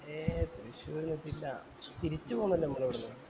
ഏയ് തൃശ്ശൂർ ഒന്ന് എത്തീറ്റില തിരിച്ച് പൊന്നിൻഡ് നാമംൽ അവടന്ന്